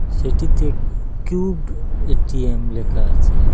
সেটিতে cube ATM লেখা আছে।